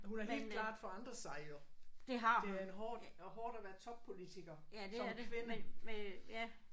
Hun har helt klart forandret sig jo. Det er en hård hårdt at være toppolitiker som kvinde